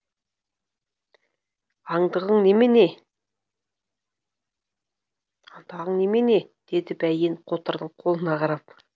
андығың немене атағын немене деді бәйтен қотырдың қолына қарап